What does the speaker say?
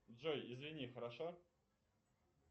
джой извини хорошо